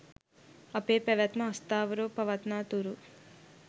අපේ පැවැත්ම අස්ථාවරව පවත්නා තුරු